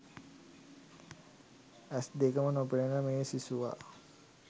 ඇස් දෙකකම නොපෙනෙන මේ සිසුවා